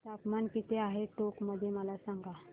तापमान किती आहे टोंक मध्ये मला सांगा